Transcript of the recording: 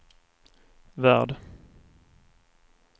värld